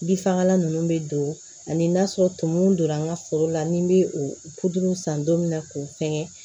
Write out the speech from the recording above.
Bin fagalan ninnu bɛ don ani n'a sɔrɔ tumun don n ka foro la ni n bɛ o san don min na k'o fɛngɛ